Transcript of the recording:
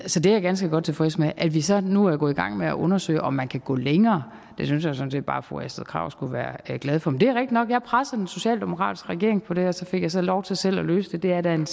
så det er jeg ganske godt tilfreds med at vi så nu er gået i gang med at undersøge om man kan gå længere synes jeg sådan set bare fru astrid krag skulle være glad for men det er rigtig nok jeg pressede den socialdemokratiske regering på det her og så fik jeg så lov til selv at løse det det er da en